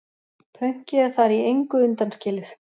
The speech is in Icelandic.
Pönkið er þar í engu undanskilið.